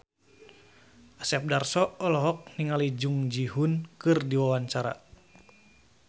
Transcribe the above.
Asep Darso olohok ningali Jung Ji Hoon keur diwawancara